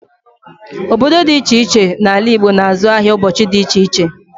Obodo dị ịche ịche n'ala Igbo na-azụ ahịa n'ụbọchị dị ịche ịche.